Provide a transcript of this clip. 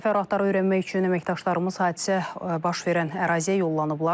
Təfərrüatları öyrənmək üçün əməkdaşlarımız hadisə baş verən əraziyə yollanıblar.